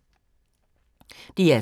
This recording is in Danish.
DR2